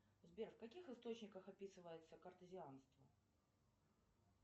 сбер в каких источниках описывается кортезианство